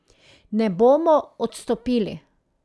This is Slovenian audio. Ne bomo odstopili.